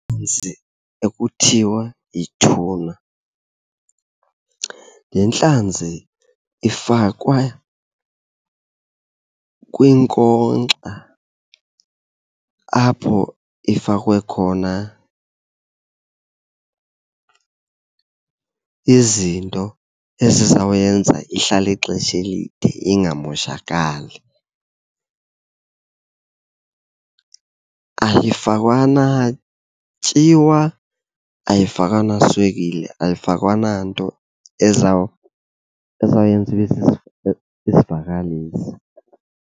ekuthiwa yituna, le ntlanzi ifakwe kwinkonkxa apho ifakwe khona izinto ezizawuyenza ihlale ixesha elide ingamoshakali. Ayifakwa natyiwa, ayifakwa naswekile, ayifakwa nanto ezawuyenza ibe isivakalisi.